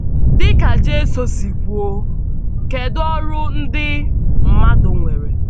Dị̀ka Jisù si kwuo, kédu ọrụ ndị mmàdù nwèrè?